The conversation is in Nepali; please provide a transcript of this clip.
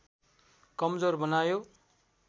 कमजोर बनायो